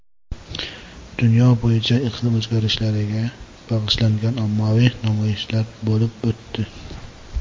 Dunyo bo‘yicha iqlim o‘zgarishlariga bag‘ishlangan ommaviy namoyishlar bo‘lib o‘tdi.